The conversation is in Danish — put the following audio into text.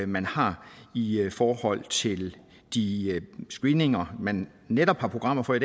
man har i forhold til de screeninger man netop har programmer for i